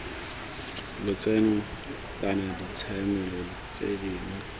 lotseno kana ditshiamelo tse dingwe